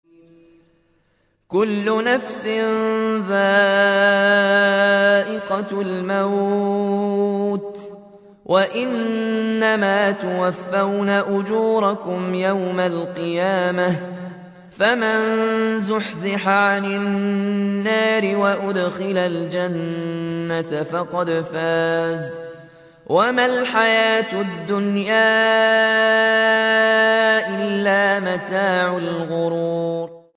كُلُّ نَفْسٍ ذَائِقَةُ الْمَوْتِ ۗ وَإِنَّمَا تُوَفَّوْنَ أُجُورَكُمْ يَوْمَ الْقِيَامَةِ ۖ فَمَن زُحْزِحَ عَنِ النَّارِ وَأُدْخِلَ الْجَنَّةَ فَقَدْ فَازَ ۗ وَمَا الْحَيَاةُ الدُّنْيَا إِلَّا مَتَاعُ الْغُرُورِ